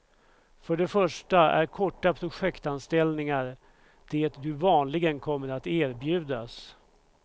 För det första är korta projektanställningar det du vanligen kommer att erbjudas.